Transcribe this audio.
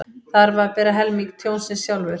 Þarf að bera helming tjónsins sjálfur